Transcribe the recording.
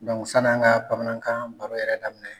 san'an ŋa bamanankan baro yɛrɛ daminɛ